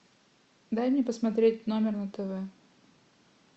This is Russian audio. дай мне посмотреть номер на тв